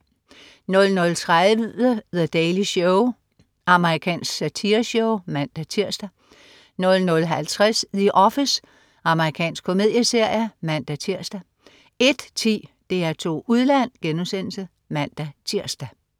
00.30 The Daily Show. Amerikansk satireshow (man-tirs) 00.50 The Office. Amerikansk komedieserie (man-tirs) 01.10 DR2 Udland* (man-tirs)